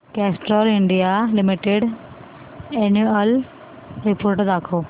Castrol India limited annual report दाखव